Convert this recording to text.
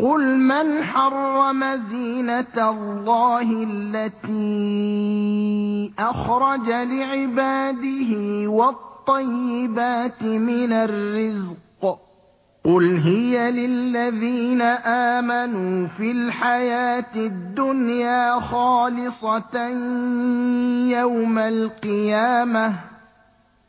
قُلْ مَنْ حَرَّمَ زِينَةَ اللَّهِ الَّتِي أَخْرَجَ لِعِبَادِهِ وَالطَّيِّبَاتِ مِنَ الرِّزْقِ ۚ قُلْ هِيَ لِلَّذِينَ آمَنُوا فِي الْحَيَاةِ الدُّنْيَا خَالِصَةً يَوْمَ الْقِيَامَةِ ۗ